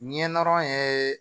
Ɲɛ dɔrɔn ye